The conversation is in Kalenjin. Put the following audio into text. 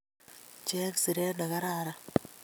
Cheng siret nekararan